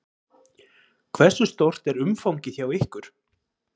Hversu stórt er umfangið hjá ykkur?